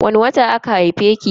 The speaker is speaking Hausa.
Wani wata aka haife ki?